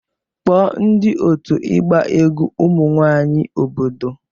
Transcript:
Kpọọ ndị otu ịgba egwu ụmụ nwanyị obodo